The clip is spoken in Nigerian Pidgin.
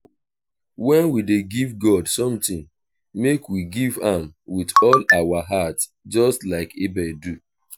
um wen we dey give god something make we give am with all our heart just like abel do